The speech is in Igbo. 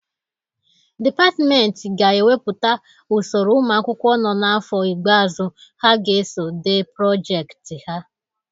Dipatmenti ga-ewepụta usoro ụmụ akwụkwọ nọ n'afọ igbeazụ ha ga-eso dee projekiti ha.